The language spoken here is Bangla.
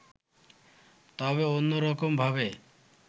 তবে অন্যরকমভাবে